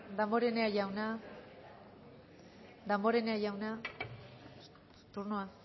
damborenea jauna damborenea jauna turnoa